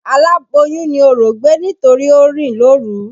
Alàboyùn ni orò gbé nítorí o rìn lóru.